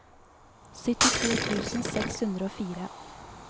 syttito tusen seks hundre og fire